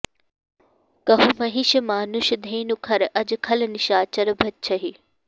कहुँ महिष मानुष धेनु खर अज खल निसाचर भच्छहीं